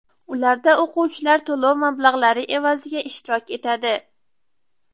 Ularda o‘quvchilar to‘lov mablag‘lari evaziga ishtirok etadi.